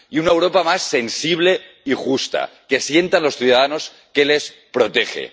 y una Europa más sensible y justa, que sientan los ciudadanos que les protege.